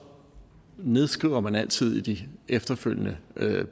nedskriver man altid i de efterfølgende